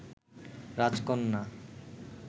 রাজকন্যা